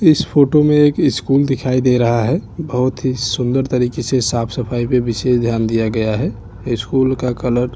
इस फोटो में एक स्कूल दिखाई दे रहा है बहुत ही सुंदर तरीके से साफ सफाई पर विशेष ध्यान दिया गया है स्कूल का कलर --